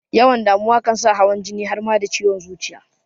Yawan damuwa kan sa hawan jini har ma da ciwon zuciya